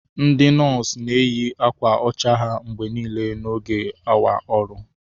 Ndị nọọsụ na-eyi akwa ọcha ha mgbe niile n'oge awa ọrụ.